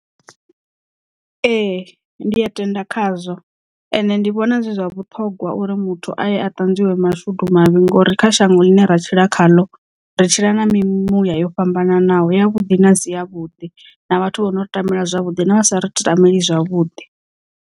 Ee ndi a tenda khazwo ende ndi vhona zwi zwa vhuṱhongwa uri muthu aye a ṱanzwiwa mashudu mavhi ngori kha shango ḽine ra tshila khaḽo ri tshila na mimuya yo fhambananaho ya vhuḓi na siya vhuḓi na vhathu vho nori ṱambela zwavhuḓi na vhasa ri tameli zwavhuḓi.